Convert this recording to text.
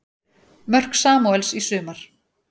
Mörk Samúels í sumar